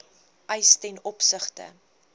eise ten opsigte